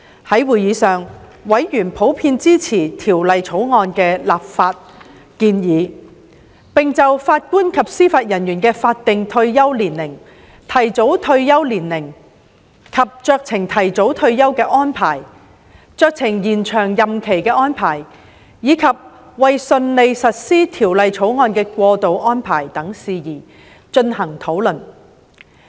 在會議上，委員普遍支持《條例草案》的立法建議，並就法官及司法人員的法定退休年齡、提早退休年齡及酌情提早退休的安排、酌情延展任期安排，以及為順利實施《條例草案》的過渡安排等事宜，進行討論。